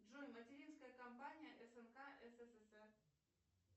джой материнская компания снк ссср